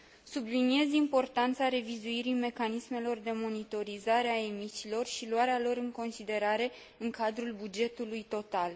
Subliniez importanța revizuirii mecanismelor de monitorizare a emisiilor și luarea lor în considerare în cadrul bugetului total.